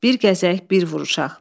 Bir gəzək, bir vuruşaq.